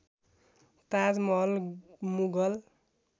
Taj Mahal Mughal